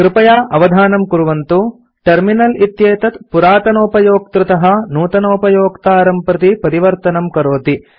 कृपया अवधानं कुर्वन्तु टर्मिनल इत्येतद् पुरातनोपयोक्तृतः नूतनोपयोक्तारं प्रति परिवर्तनं करोति